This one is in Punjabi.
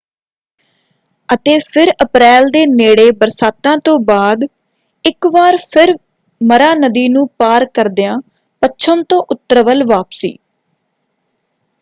ਅਤੇ ਫਿਰ ਅਪ੍ਰੈਲ ਦੇ ਨੇੜੇ ਬਰਸਾਤਾਂ ਤੋਂ ਬਾਅਦ ਇੱਕ ਵਾਰ ਫਿਰ ਮਰਾ ਨਦੀ ਨੂੰ ਪਾਰ ਕਰਦਿਆਂ ਪੱਛਮ ਤੋਂ ਉੱਤਰ ਵੱਲ ਵਾਪਸੀ।